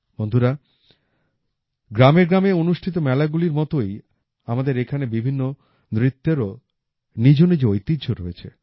বন্ধুরা গ্রামে গ্রামে অনুষ্ঠিত মেলাগুলির মতই আমাদের এখানে বিভিন্ন নৃত্যেরও নিজ নিজ ঐতিহ্য রয়েছে